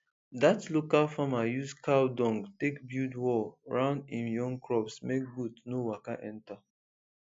that local farmer use cow dung take build wall round im young crops make goat no waka enter